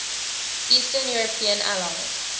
eastern european allies